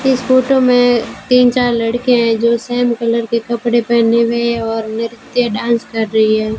इस फोटो में तीन चार लड़के हैं जो सेम कलर के कपड़े पहने हुए हैं और नृत्य डांस कर रही है।